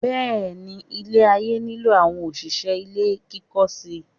Bẹ́ẹ̀ ni, ilé-ayé nílò àwọn òṣìṣẹ́ ilé kíkọ́ síi.